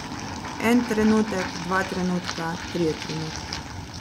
En trenutek, dva trenutka, trije trenutki.